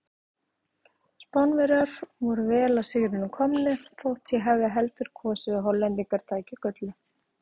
Spánverjar voru vel að sigrinum komnir þótt ég hefði heldur kosið að Hollendingar tækju gullið.